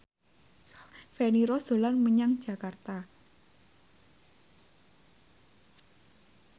Feni Rose dolan menyang Jakarta